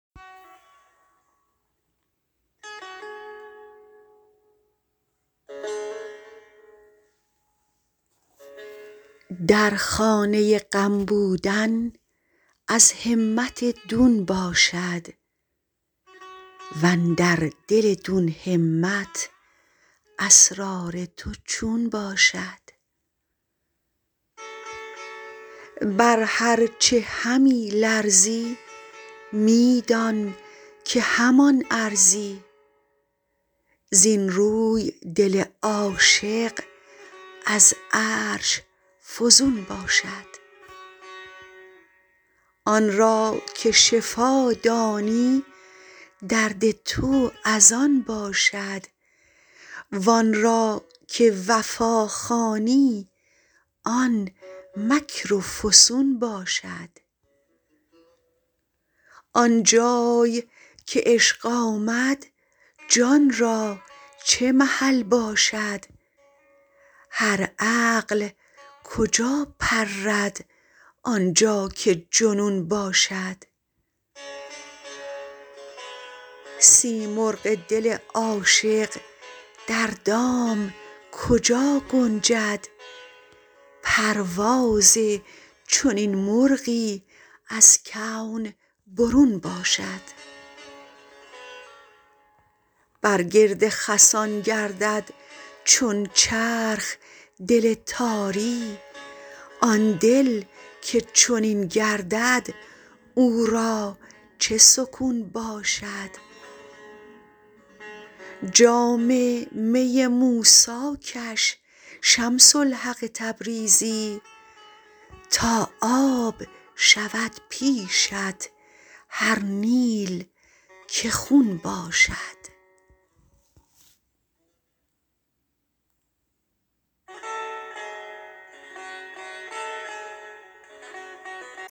در خانه غم بودن از همت دون باشد و اندر دل دون همت اسرار تو چون باشد بر هر چه همی لرزی می دان که همان ارزی زین روی دل عاشق از عرش فزون باشد آن را که شفا دانی درد تو از آن باشد وان را که وفا خوانی آن مکر و فسون باشد آن جای که عشق آمد جان را چه محل باشد هر عقل کجا پرد آن جا که جنون باشد سیمرغ دل عاشق در دام کجا گنجد پرواز چنین مرغی از کون برون باشد بر گرد خسان گردد چون چرخ دل تاری آن دل که چنین گردد او را چه سکون باشد جام می موسی کش شمس الحق تبریزی تا آب شود پیشت هر نیل که خون باشد